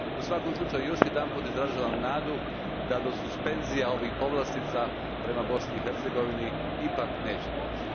U svakom slučaju još jedanput izražavam nadu da do suspenzije ovih povlastica prema Bosni i Hercegovini ipak neće doći.